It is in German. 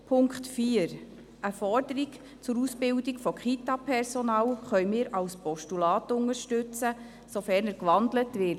Zum Punkt 4: Eine Forderung zur Ausbildung des Kitapersonals können wir als Postulat unterstützen, sofern der Punkt gewandelt wird.